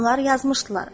Onlar yazmışdılar: